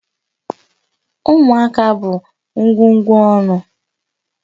Ụmụaka bụ ngwugwu ọn̄ụ.